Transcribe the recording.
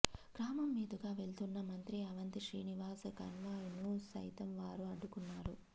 గ్రామం మీదుగా వెళ్తున్న మంత్రి అవంతి శ్రీనివాస్ కాన్వాయ్ను సైతం వారు అడ్డుకున్నారు